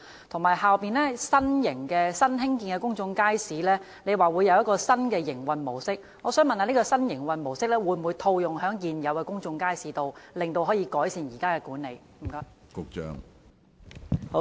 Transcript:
局長剛才也提到，新興建的新型公眾街市將使用新的營運模式，請問這種新營運模式會否套用於現有公眾街市，以改善現行的管理？